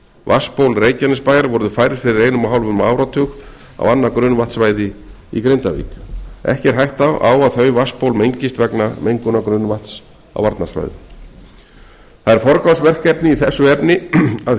vatnsból reykjanesbæjar voru færð fyrir einum og hálfum áratug á annað grunnvatnssvæði í grindavík ekki er hætta á að þau vatnsból mengist vegna mengunar grunnvatns á varnarsvæðum það er forgangsverkefni að